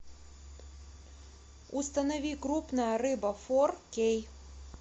установи крупная рыба фор кей